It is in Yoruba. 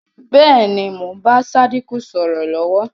Bẹ́ẹ̀ ni, mo ń bá Sádíkù sọ̀rọ̀ lọ̀wọ̀